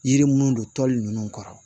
Yiri munnu don tɔli nunnu kɔrɔ